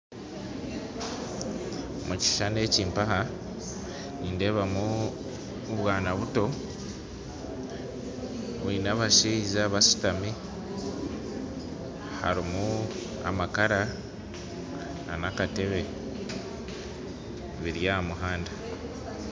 Omu kishushani eki nindeebamu abaana bato bari n'abashaija bashutami, harimu amakara hamwe n'akateebe biri aha muhanda